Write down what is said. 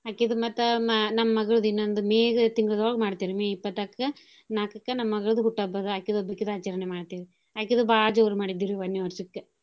ಅಕಿದು ಮತ್ತ ಮ~ ನಮ್ ಮಗ್ಳದ್ ಇನ್ನೊಂದ್ May ಗ ತಿಂಗಳ್ದೋಳ್ಗ ಮಾಡ್ತೇವ್ ರಿ May ಇಪ್ಪತ್ನಾಕಕ್ಕ ನಾಕಕ್ಕ ನಮ್ ಮಗ್ಳದು ಹುಟ್ಟು ಹಬ್ಬ ಅಕಿದೋಬ್ಬೇಕಿದು ಆಚರ್ಣೆ ಮಾಡ್ತೇವಿ ಅಕಿದು ಬಾಳ್ ಜೋರ್ ಮಾಡಿದ್ವಿರಿ ವನ್ನೇ ವರ್ಷಕ್ಕ್.